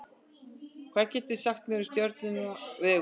hvað getið þið sagt mér um stjörnuna vegu